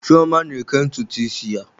Chioma na-eke ntutu isi ya.